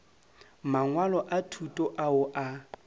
mangwalo a thuto ao a